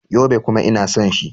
Yobe. kuma ina son shi.